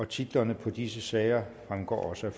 titlerne på disse sager fremgår også